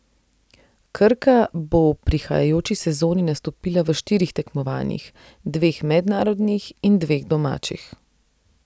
Krka bo v prihajajoči sezoni nastopila v štirih tekmovanjih, dveh mednarodnih in dveh domačih.